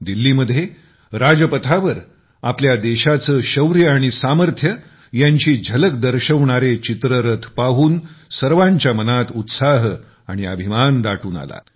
दिल्लीमध्ये राजपथावर आपल्या देशाचे शौर्य आणि सामर्थ्य यांची झलक दर्शवणारे चित्ररथ पाहून सर्वांच्या मनात उत्साह आणि अभिमान दाटून आला